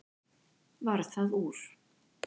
Varð það úr.